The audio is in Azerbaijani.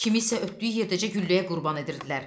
Kimisə ötdüyü yerdəcə gülləyə qurban edirdilər.